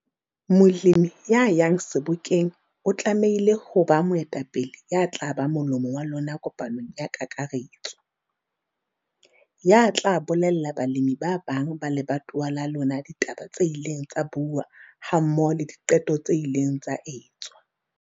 Molemi ya yang sebokeng o tlamehile ho ba moetapele ya tla ba molomo wa lona kopanong ya kakaretso, ya tla tla bolella balemi ba bang ba lebatowa la lona ditaba tse ileng tsa buuwa hammoho le diqeto tse ileng tsa etswa.